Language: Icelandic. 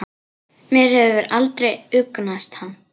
Mér hefur aldrei hugnast hann.